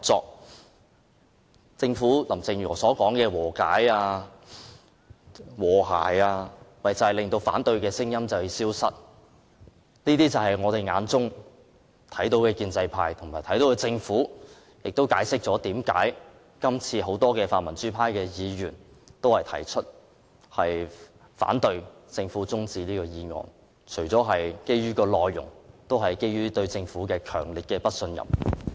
林鄭月娥政府所說的和解及和諧，其實是要令反對聲音消失，這便是我們眼中的建制派和政府，亦解釋了為何很多泛民主派議員反對政府提出的休會待續議案，除了是基於議案的內容，也基於對政府的強烈不信任。